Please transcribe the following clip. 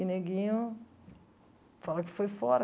E Neguinho... Fala que foi fora.